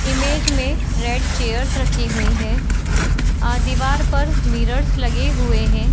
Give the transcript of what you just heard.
Image में red chairs रखी हुई है और दीवार पर मिरर्स लगे हुए हैं।